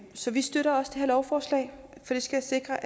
så vi støtter også det her lovforslag for det skal sikre